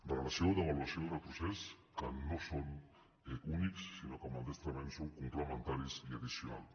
regressió devaluació i retrocés que no són únics sinó que maldestrament són complementaris i addicionals